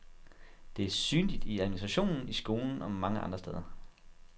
Det er synligt i administrationen, i skolen og mange andre steder.